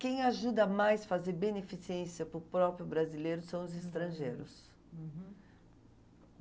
Quem ajuda mais a fazer beneficência para o próprio brasileiro são os estrangeiros. Uhum.